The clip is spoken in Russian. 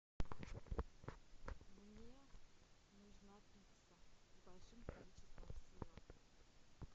мне нужна пицца с большим количеством сыра